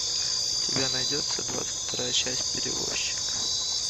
у тебя найдется двадцать вторая часть перевозчик